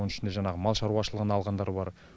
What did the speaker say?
оның ішінде жаңағы мал шаруашылығын алғандар бар